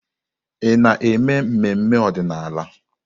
Ị na-eme mmemme ọdịnala?